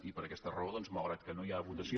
i per aquesta raó doncs malgrat que no hi ha votació